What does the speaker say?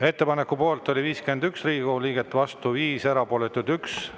Ettepaneku poolt oli 51 Riigikogu liiget, vastu 5, erapooletuid 1.